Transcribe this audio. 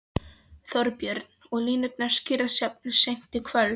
Þorbjörn: Og línurnar skýrast jafnvel seint í kvöld?